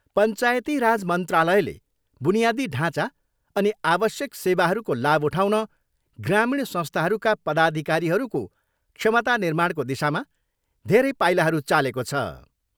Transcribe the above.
पञ्चायती राज मन्त्रालयले बुनियादी ढाँचा अनि आवश्यक सेवाहरूको लाभ उठाउन ग्रामीण संस्थाहरूका पदाधिकारीहरूको क्षमता निर्माणको दिशामा धेरै पाइलाहरू चालेको छ।